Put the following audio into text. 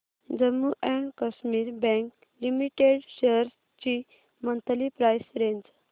Jammu and Kashmir bank limited shares ची monthly price range